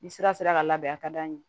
Ni sira sera ka labɛn a ka d'an ye